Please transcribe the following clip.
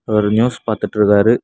அவரு நியூஸ் பாத்துட்ருக்காரு.